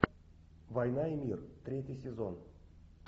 война и мир третий сезон